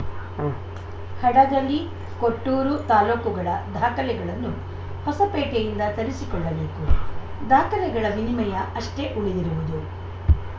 ಉಂ ಹಡಗಲಿ ಕೊಟ್ಟೂರು ತಾಲೂಕುಗಳ ದಾಖಲೆಗಳನ್ನು ಹೊಸಪೇಟೆಯಿಂದ ತರಿಸಿಕೊಳ್ಳಬೇಕು ದಾಖಲೆಗಳ ವಿನಿಮಯ ಅಷ್ಟೆಉಳಿದಿರುವುದು